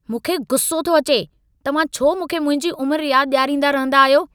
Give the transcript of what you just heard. मूंखे गुसो थो अचे, तव्हां छो मूंखे मुंहिंजी उमरि यादि ॾियारींदा रहंदा आहियो?